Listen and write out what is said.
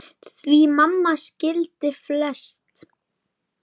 Því mamma skildi flest.